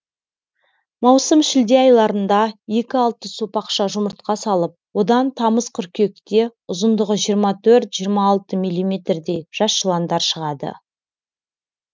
маусым шілде айларында екі алты сопақша жұмыртқа салып одан тамыз қыркүйекте ұзындығы жиырма төрт жиырма алты миллиметрде жас жыландар шығады